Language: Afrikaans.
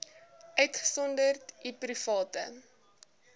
uitgesonderd u private